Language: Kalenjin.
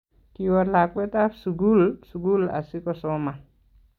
Kiwoo lakwetab sugul sugul asigosoman